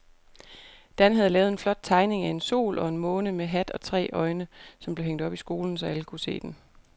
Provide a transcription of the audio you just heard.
Dan havde lavet en flot tegning af en sol og en måne med hat og tre øjne, som blev hængt op i skolen, så alle kunne se den.